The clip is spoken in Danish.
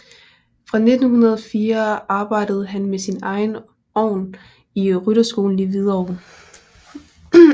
Fra 1904 arbejdede han med sin egen ovn i rytterskolen i Hvidovre